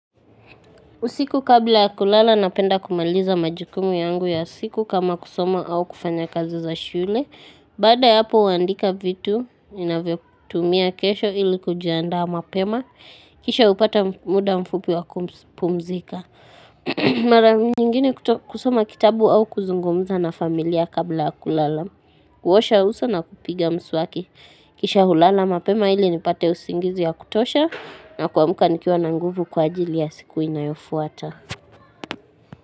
Usiku kabla kulala napenda kumaliza majukumu yangu ya siku kama kusoma au kufanya kazi za shule. Baada ya hapo huandika vitu inavyo kutumia kesho ili kujiandaa mapema. Kisha hupata muda mfupi wa kupumzika. Mara nyingine kusoma kitabu au kuzungumza na familia kabla ya kulala. Kuosha uso na kupiga mswaki. Kisha hulala mapema ili nipate usingizi ya kutosha na kuamka nikiwa na nguvu kwa ajili ya siku inayofuata.